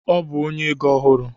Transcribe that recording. Ọ bụ onye ego ọhụrụ